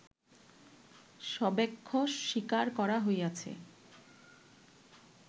সব্যাখ্যা স্বীকার করা হইয়াছে